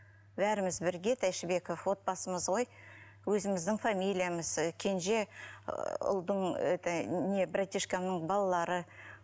бәріміз бірге тәйшібеков отбасымыз ғой өзіміздің фамилиямыз і кенже ұлдың это братишкамның балалары